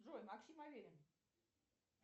джой максим аверин